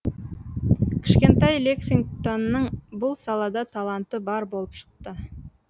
кішкентай лексингтонның бұл салада таланты бар болып шықты